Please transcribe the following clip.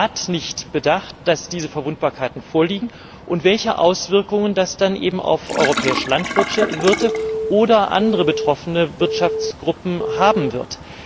Hat der Rat nicht bedacht, dass diese Verwundbarkeiten vorliegen und welche Auswirkungen das dann eben auf europäische Landwirte oder andere betroffene Wirtschaftsgruppen haben wird?